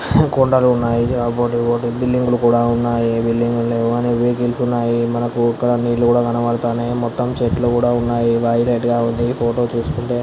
కొండలు ఉన్నాయి మనకు ఇక్కడ నీళ్లు కనబడతాయి మొత్తం చెట్లు కూడా ఉన్నాయి --